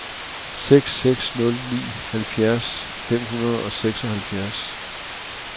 seks seks nul ni halvfjerds fem hundrede og seksoghalvfjerds